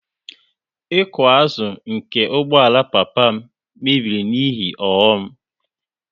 Iko azụ nke ụgbọala papa m mebiri n'ihe ọghọm